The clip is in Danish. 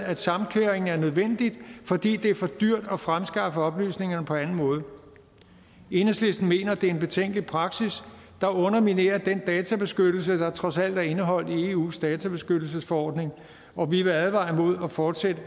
at samkøring er nødvendig fordi det er for dyrt at fremskaffe oplysningerne på anden måde enhedslisten mener det er en betænkelig praksis der underminerer den databeskyttelse der trods alt er indeholdt i eus databeskyttelsesforordning og vi vil advare imod at fortsætte